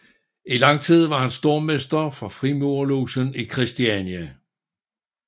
I lang tid var han stormester for Frimurerlogen i Christiania